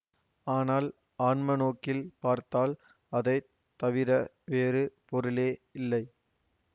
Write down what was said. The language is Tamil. ஆனால் ஆன்மநோக்கில் பார்த்தால் அதை தவிர வேறு பொருளே இல்லை